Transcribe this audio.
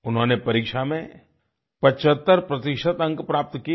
उन्होंने परीक्षा में 75 प्रतिशत अंक प्राप्त किए